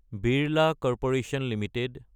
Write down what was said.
Birla corporation Ltd